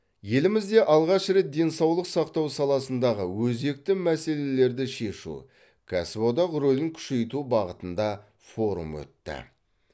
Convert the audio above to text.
елімізде алғаш рет денсаулық сақтау саласындағы өзекті мәселелерді шешу кәсіподақ рөлін күшейту бағытында форум өтті